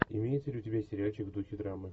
имеется ли у тебя сериальчик в духе драмы